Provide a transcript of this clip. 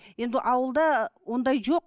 енді ауылда ондай жоқ